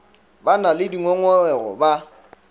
ba na le dingongorego ba